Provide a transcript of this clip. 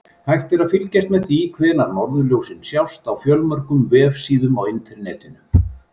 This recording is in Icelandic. Hægt er að fylgjast með því hvenær norðurljósin sjást á fjölmörgum vefsíðum á Internetinu.